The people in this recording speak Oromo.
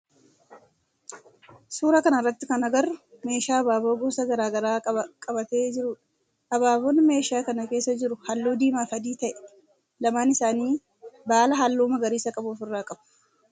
Suuraa kana irratti kan agarru meeshaa abaaboo gosa garaa garaa qabatee jirudha. Abaaboon meeshaa kana keessa jiru halluu diimaa fi adii ta'ee lamaan isaanii baala halluu magariisa qabu of irraa qabu.